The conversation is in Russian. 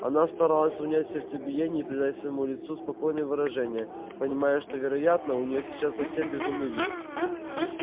она старалась унять сердцебиение и придать своему лицу спокойное выражение понимая что вероятно у неё сейчас совсем безумный вид